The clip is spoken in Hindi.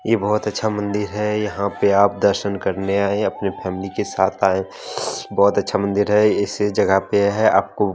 ये बोहत अच्छा मंदिर है यहां पे आप दर्शन करने आये अपने फॅमिली के साथ आये बोहोत अच्छा मंदिर है इस जगह पे है आपको --